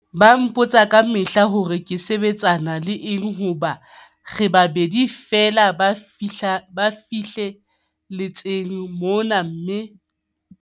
Ba mpotsa kamehla hore ke sebetsana le eng hobane re babedi feela ba fihle letseng mona mme ke wa pele wa ho qeta.